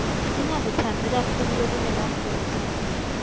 singakutsandzi kakhulu lokunemafutsa